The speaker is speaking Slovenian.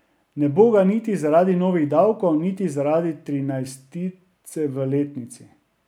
Ne bo ga niti zaradi novih davkov niti zaradi trinajstice v letnici.